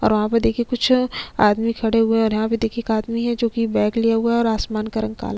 और वहाँ पे देखिये कुछ आदमी खड़े हुए है और यहाँ पे देखिये एक आदमी है जो की बैग लिए हुए है और आसमान का रंग काला --